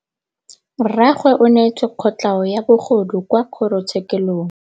Rragwe o neetswe kotlhaô ya bogodu kwa kgoro tshêkêlông.